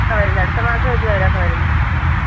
വരുന്നു അടുത്ത മാസം